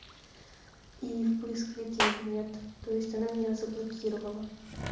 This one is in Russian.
и в поисковике её нет то есть она меня заблокировала